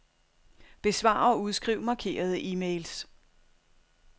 Besvar og udskriv markerede e-mails.